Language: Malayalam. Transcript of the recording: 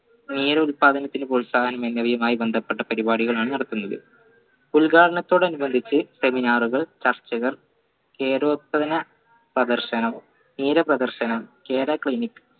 ഉൽപാദനത്തിന് പ്രോത്സാഹനം എന്നവയുമായി ബന്ധപ്പെട്ട പരിപാടികളാണ് നടത്തുന്നത് ഉദ്ഘാടനത്തോടനുബന്ധിച്ച് seminar കൾ ചർച്ചകൾ പ്രദർശനവും തീരപ്രദർശനവും clinic